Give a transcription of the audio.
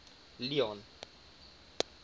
leone